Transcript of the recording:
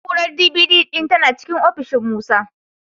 Na'urar D.V.D ɗin tana cikin ofishin Musa.